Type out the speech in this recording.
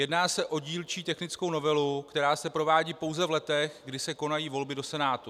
Jedná se o dílčí technickou novelu, která se provádí pouze v letech, kdy se konají volby do Senátu.